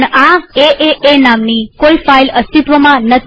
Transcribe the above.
પણ એએ નામની કોઈ ફાઈલ અસ્તિત્વમાં નથી